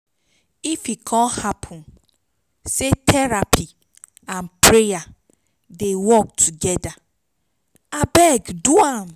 if e con hapun say therapy nd prayer dey work togeda abeg do am